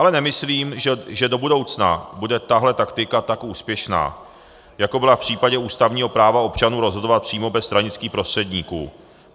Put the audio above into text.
Ale nemyslím, že do budoucna bude tahle taktika tak úspěšná, jako byla v případě ústavního práva občanů rozhodovat přímo bez stranických prostředníků.